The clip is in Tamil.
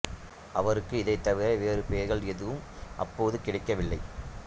அவருக்கு இதைத் தவிர வேறு பெயர்கள் ஏதும் அப்போது கிடைக்கவில்லை